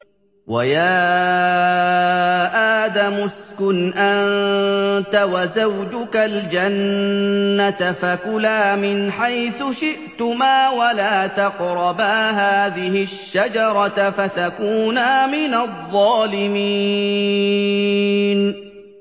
وَيَا آدَمُ اسْكُنْ أَنتَ وَزَوْجُكَ الْجَنَّةَ فَكُلَا مِنْ حَيْثُ شِئْتُمَا وَلَا تَقْرَبَا هَٰذِهِ الشَّجَرَةَ فَتَكُونَا مِنَ الظَّالِمِينَ